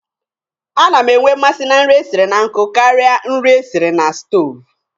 A na m enwe mmasị na nri e siri na nkụ karịa nri e siri na sutoovu.